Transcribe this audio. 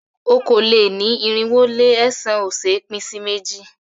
Okòó-lé-ní-irinwó-lé-ẹ̀sán ò ṣé é pín sí méjì.